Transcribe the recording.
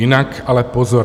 Jinak ale pozor.